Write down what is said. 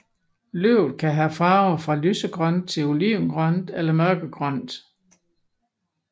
Løvet kan have farver fra lysegrønt til olivengrønt eller mørkegrønt